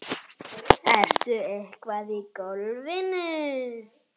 Ertu eitthvað í golfinu?